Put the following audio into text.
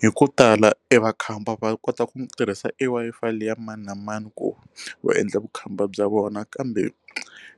Hi ku tala e makhamba va kota ku tirhisa e Wi-Fi leyi ya mani na mani ku va endla vukhamba bya vona kambe